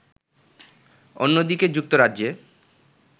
অন্যদিকে যুক্তরাজ্যে